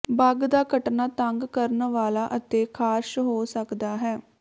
ਬੱਗ ਦਾ ਕੱਟਣਾ ਤੰਗ ਕਰਨ ਵਾਲਾ ਅਤੇ ਖਾਰਸ਼ ਹੋ ਸਕਦਾ ਹੈ